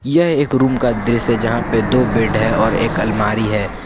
यह एक रूम का दृश्य जहां पर दो बेड है और एक अलमारी है।